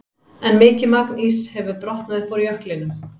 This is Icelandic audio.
En mikið magn íss hefur brotnað upp úr jöklinum.